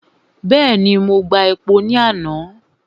Bẹ́ẹ̀ni, mo gba epo ní àná.